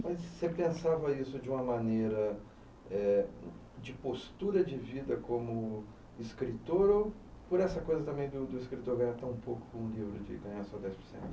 Mas você pensava isso de uma maneira eh, de postura de vida como escritor ou por essa coisa também do do escritor ganhar tão pouco com o livro de ganhar só dez por cento?